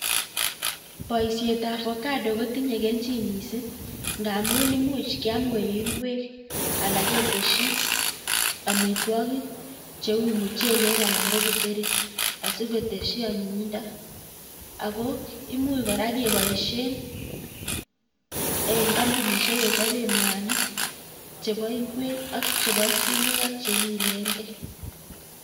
Boishetab ovacado kotinye kelchin mising ng'amun imuch kiam koik ing'wek alan keteshi amitwokik cheuu muchelek alan ko kiteri asikotesyi anyinyindo ak ko imuch kora keboishen en kombunishek chechoben mwanik chebo ing'wek ak chebo sumek ak chekiileng'e.